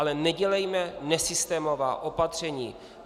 Ale nedělejme nesystémová opatření.